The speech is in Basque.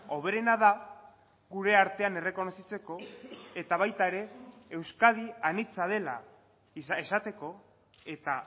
hoberena da gure artean errekonozitzeko eta baita ere euskadi anitza dela esateko eta